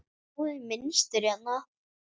Sjáiði mynstur hérna?